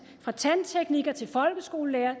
fra tandtekniker til folkeskolelærer